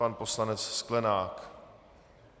Pan poslanec Sklenák.